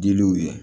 Diliw ye